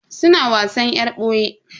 Suna wasan yar boye.